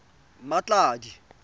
mmatladi